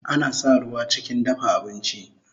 Ana sa ruwa chikin dafa abinchi